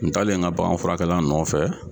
Ntaalen n ka bagan furakɛla nɔfɛ.